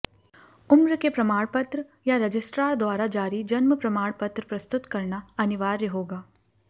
उम्र के प्रमाण पत्र या रजिस्ट्रार द्वारा जारी जन्म प्रमाण पत्र प्रस्तुत करना अनिवार्य होगा